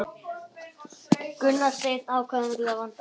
Gunnar Steinn atkvæðamikill að vanda